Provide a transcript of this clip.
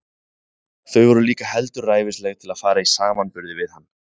Þau voru líka heldur ræfilsleg til fara í samanburði við hann.